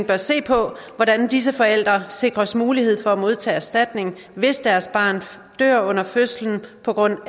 bør se på hvordan disse forældre sikres mulighed for at modtage erstatning hvis deres barn dør under fødslen på grund